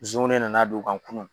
Zonw ne nana don o kan kunu.